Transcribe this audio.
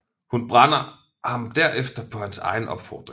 Hun brænder ham derefter på hans egen opfordring